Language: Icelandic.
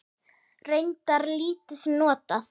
Reyndar lítið notað.